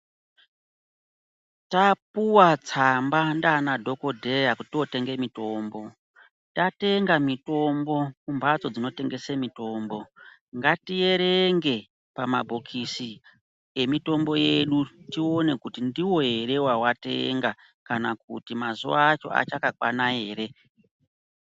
Tapuwa tsamba ndaanadhokodheya kuti totenge mitombo, tatenga mitombo kumphatso dzinotengese mitombo ngatierenge pamabhokisi emitombo yedu tione kuti ndiwo ere watatenga kana kuti mazuwa acho achakakwana ere.